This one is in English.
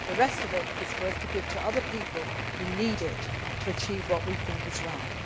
in. The rest of it is for us to give to other people who need it to achieve what we think